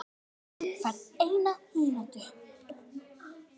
Þú færð eina mínútu.